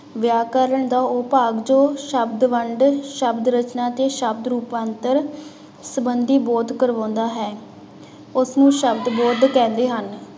ਵਿਆਕਰਨ ਦਾ ਉਹ ਭਾਗ ਜੋ ਸ਼ਬਦ ਵੰਡ ਸ਼ਬਦ ਰਚਨਾ ਤੇ ਸ਼ਬਦ ਰੂਪਾਂਤਰ ਸੰਬੰਧੀ ਬੋਧ ਕਰਵਾਉਂਦਾ ਹੈ, ਉਸਨੂੰ ਸ਼ਬਦ ਬੋਧ ਕਹਿੰਦੇ ਹਨ।